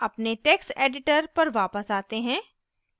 अपने text editor पर वापस आते हैं